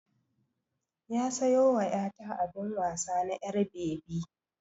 Ya sayo wa 'ya ta abin wasa na 'yar bebi